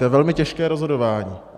To je velmi těžké rozhodování.